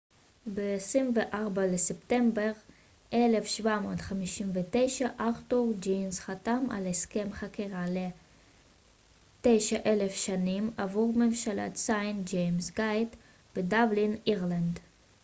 ב-24 לספטמבר 1759 ארתור גינס חתם על הסכם חכירה ל-9,000 שנים עבור מבשלת סיינט ג'יימס גייט בדבלין אירלנד